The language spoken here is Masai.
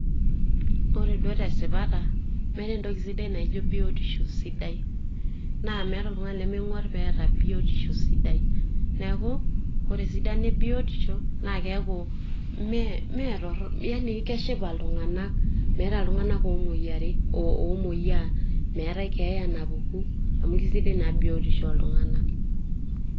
Ore duo tesipata, meeta entoki sidai naijo biotisho sidai. Na meeta oltung'ani lemeng'uar peeta biotisho sidai. Neeku, ore esidano ebiotisho, na keeku meetorrono, yaani keshipa iltung'anak. Meeta iltung'anak omoyiari, omoyiaa, meetae keeya napuku, amu kesidai naa biotisho oltung'anak.